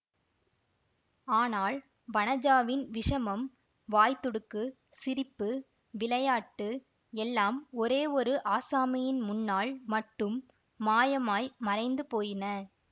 ஆனால் வனஜாவின் விஷமம் வாய்த் துடுக்கு சிரிப்பு விளையாட்டு எல்லாம் ஒரே ஒரு ஆசாமியின் முன்னால் மட்டும் மாயமாய் மறைந்து போயின